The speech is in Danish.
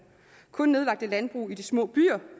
kun nedlagte landbrug i de små byer